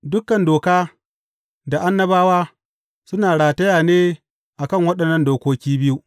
Dukan Doka da Annabawa suna rataya ne a kan waɗannan dokoki biyu.